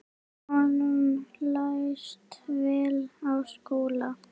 Honum leist vel á Skúla.